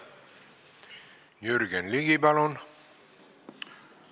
Jürgen Ligi, palun!